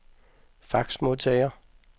faxmodtager